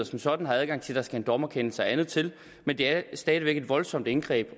som sådan har adgang til der skal en dommerkendelse og andet til men det er stadig væk et voldsomt indgreb